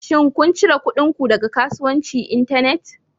Shin kun cire kuɗin ku daga kasuwanci Internet?